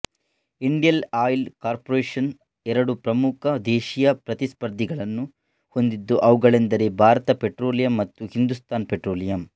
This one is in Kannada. ಇಂಡಿಯಲ್ ಆಯಿಲ್ ಕಾರ್ಪೊರೇಶನ್ ಎರಡು ಪ್ರಮುಖ ದೇಶೀಯ ಪ್ರತಿಸ್ಪರ್ಧಿಗಳನ್ನು ಹೊಂದಿದ್ದು ಅವುಗಳೆಂದರೆ ಭಾರತ್ ಪೆಟ್ರೋಲಿಯಂ ಮತ್ತು ಹಿಂದೂಸ್ತಾನ್ ಪೆಟ್ರೋಲಿಯಂ